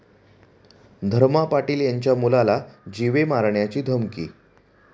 धर्मा पाटील यांच्या मुलाला जीवे मारण्याची धमकी